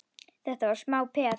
Þetta var smá peð!